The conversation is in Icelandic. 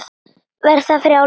Verði frjáls.